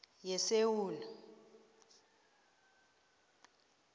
yesewula